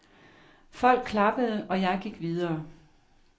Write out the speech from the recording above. Folk klappede, og jeg gik videre.